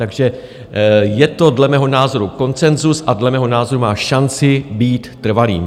Takže je to dle mého názoru konsenzus a dle mého názoru má šanci být trvalým.